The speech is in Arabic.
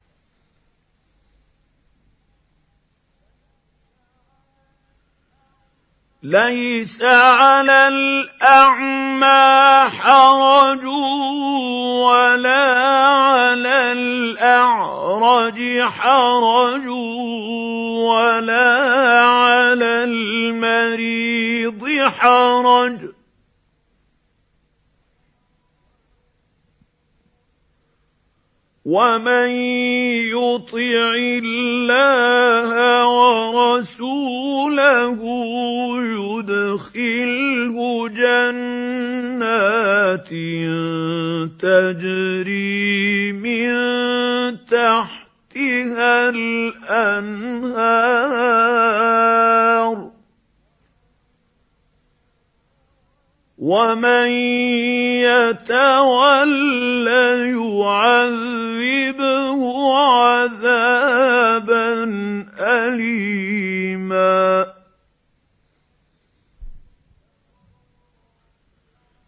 لَّيْسَ عَلَى الْأَعْمَىٰ حَرَجٌ وَلَا عَلَى الْأَعْرَجِ حَرَجٌ وَلَا عَلَى الْمَرِيضِ حَرَجٌ ۗ وَمَن يُطِعِ اللَّهَ وَرَسُولَهُ يُدْخِلْهُ جَنَّاتٍ تَجْرِي مِن تَحْتِهَا الْأَنْهَارُ ۖ وَمَن يَتَوَلَّ يُعَذِّبْهُ عَذَابًا أَلِيمًا